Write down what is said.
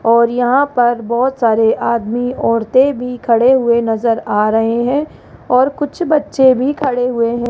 और यहां पर बहोत सारे आदमी औरतें भी खड़े हुए नजर आ रहे हैं और कुछ बच्चे भी खड़े हुए हैं।